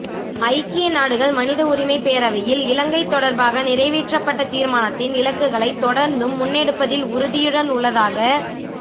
ஐக்கியநாடுகள் மனித உரிமை பேரவையில் இலங்கை தொடர்பாக நிறைவேற்றப்பட்ட தீர்மானத்தின் இலக்குகளை தொடர்ந்தும் முன்னெடுப்பதில் உறுதியுடன் உள்ளதாக